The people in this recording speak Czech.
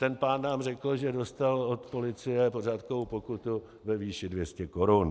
Ten pán nám řekl, že dostal od policie pořádkovou pokutu ve výši 200 korun.